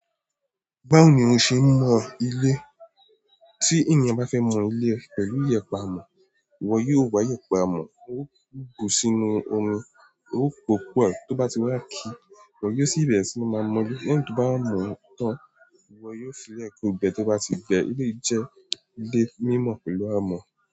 Báwo ni o ṣe mọ ilé? Tí ènìyàn bá fẹ́ mọ ilé e pẹ̀lú iyẹ̀pẹ̀ amọ̀, ìwọ yóò wa iyẹ̀pẹ̀ amọ̀, o bu sínú omí, o po pọ̀ tó bá ti wá ki ìwọ yóò sì bẹ̀rẹ̀ sí máa mọ ilé. Lẹ́yìn tí o ba mọ tan, ìwò yóò sì le ko gbé to ba ti gbé iléyi jẹ́, ilé mímọ̀ pẹ̀lú amọ̀.